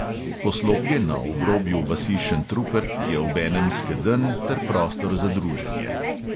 Poslopje na obrobju vasi šentrupert je obenem skedenj ter prostor za druženje.